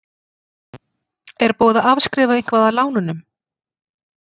Er búið að afskrifa eitthvað af lánunum?